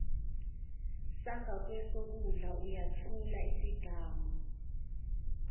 sangakwesokudla uyathula isigamu